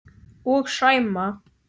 Og Sæma.